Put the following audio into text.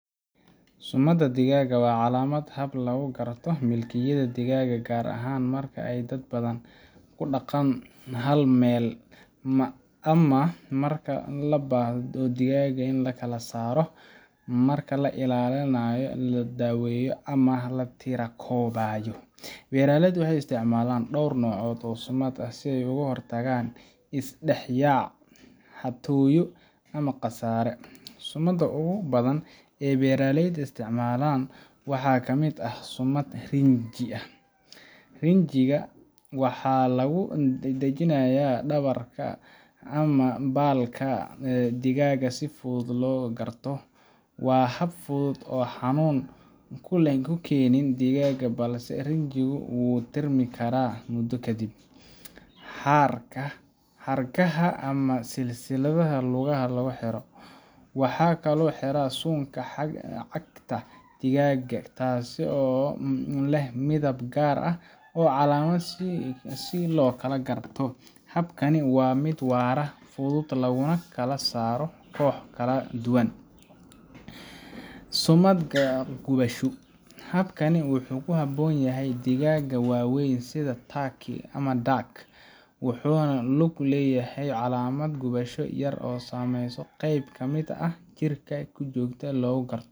Sumadda digaaga waa calaamad ama hab lagu garto milkiyadda digaagga, gaar ahaan marka ay dad badan ku dhaqaan hal meel ama marka loo baahdo in digaagga la kala saaro marka la iibinayo, la daweeyo ama la tirokoobayo. Beeraleydu waxay isticmaalaan dhowr nooc oo sumado ah si ay uga hortagaan is dhex yaac, xatooyo ama khasaare. Sumadaha ugu badan ee beeraleyda isticmaalaan waxaa ka mid ah: – Sumad rinji ah: Rinjiga waxaa lagu dhajinayaa dhabarka ama baalka digaagga si si fudud loo kala garto. Waa hab fudud oo aan xanuun u keenin digaagga, balse rinjigu wuu tirmi karaa muddo kadib. – Xarkaha ama silsiladaha lugaha lagu xiro: Waxaa lagu xiraa suunka cagta digaagga, taasoo leh midab gaar ah ama calaamad si loo kala garto. Habkani waa mid waara, fudud, laguna kala saaro kooxo kala duwan. – Sumad gubasho: Habkani wuxuu ku habboon yahay digaagga waaweyn sida turkey ama duck, wuxuuna ku lug leeyahay calaamad gubasho yar lagu sameeyo qeyb ka mid ah jirka si joogto ah loogu garto.